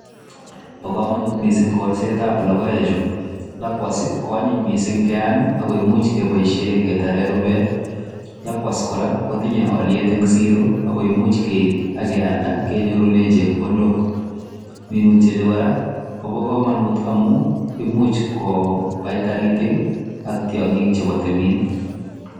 Bo komonut mising kolsetab logoechu. Lakwat ii konyinny mising ngeam ago imuch keboisiie ketaren rubet. Lakwats kora kotinye olyet en siro ago imuch keib ak kealda kenyorune chepkondok. Minutyoni kora kobo komonut amun imuch kobai taritik ak tiong'k chebo timin.